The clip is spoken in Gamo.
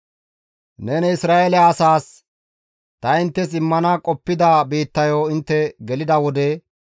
«Neni Isra7eele asaas, ‹Ta inttes immana qoppida biittayo intte gelida wode,